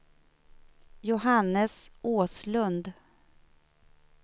Johannes Åslund